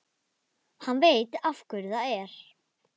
Hann veit af hverju það er.